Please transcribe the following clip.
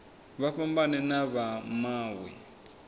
vha fhambane na vha mawe